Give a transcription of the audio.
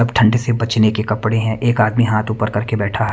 अब ठंडे से बचने के कपड़े हैं एक आदमी हाथ ऊपर करके बैठा।